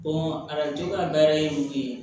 arajo ka baara ye mun ye